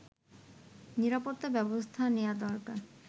নিরাপত্তা ব্যবস্থা নেয়া দরকার